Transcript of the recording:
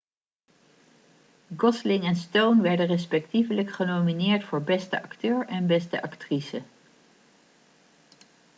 gosling en stone werden respectievelijk genomineerd voor beste acteur en beste actrice